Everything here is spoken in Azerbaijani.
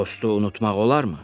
Dostu unutmaq olarmı?